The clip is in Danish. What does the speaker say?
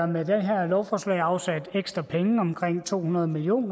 med det her lovforslag afsat ekstra penge omkring to hundrede million